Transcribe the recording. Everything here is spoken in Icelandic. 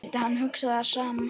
Skyldi hann hugsa það sama?